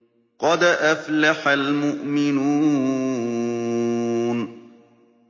قَدْ أَفْلَحَ الْمُؤْمِنُونَ